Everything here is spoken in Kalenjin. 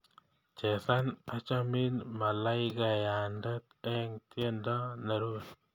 Chesan achamin malaikayande eng tyendo nerupe